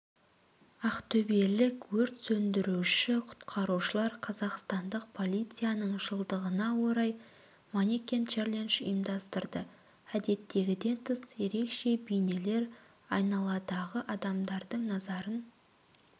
ақтөбелік өрт сөндіруші-құтқарушылар қазақстандық полицияның жылдығына орай манекен-челендж ұйымдастырды әдеттегіден тыс ерекше бейнелер айналадағы адамдардың назарын